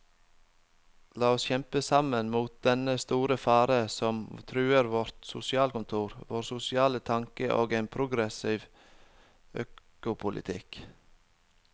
La oss kjempe sammen mot dennne store fare som truer vårt sosialkontor, vår sosiale tanke og en progressiv økopolitikk.